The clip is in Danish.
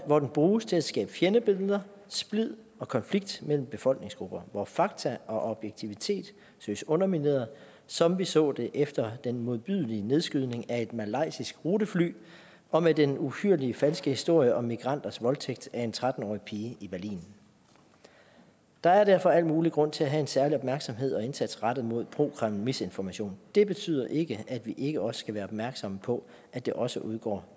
hvor den bruges til at skabe fjendebilleder splid og konflikt mellem befolkningsgrupper hvor fakta og objektivitet søges undermineret som vi så det efter den modbydelige nedskydning af et malaysisk rutefly og med den uhyrlige falske historie om migranters voldtægt af en tretten årig pige i berlin der er derfor al mulig grund til at have en særlig opmærksomhed og indsats rettet mod prokremlmisinformation det betyder ikke at vi ikke også skal være opmærksomme på at der også udgår